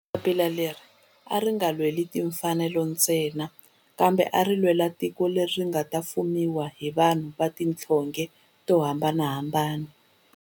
Papila leri a ri nga lweli timfanelo ntsena kambe a ri lwela tiko leri nga ta fumiwa hi vanhu va tihlonge to hambanahambana.